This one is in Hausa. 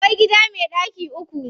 Akwai gida me ɗaki uku.